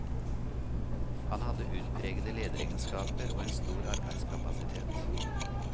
Han hadde utpregede lederegenskaper og en stor arbeidskapasitet.